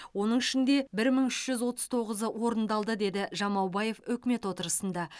оның ішінде бір мың үш жүз отыз тоғызы орындалды деді жамаубаев үкімет отырысында